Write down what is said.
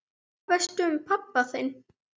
Hvað veistu um pabba þinn?